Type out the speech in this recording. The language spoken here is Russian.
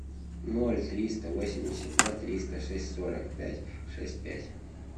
ноль триста восемьдесят два триста шесть сорок пять шесть пять